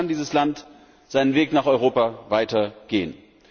Nur so kann dieses Land seinen Weg nach Europa weiter gehen.